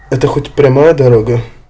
это хоть прямая дорога